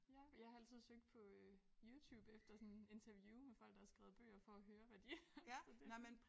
Ja jeg har altid søgt på øh Youtube efter sådan interview med folk der har skrevet bøger for at høre hvad de så det